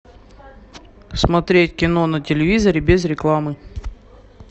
смотреть кино на телевизоре без рекламы